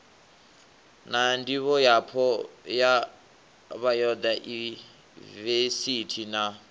na ndivhoyapo ya bayodaivesithi na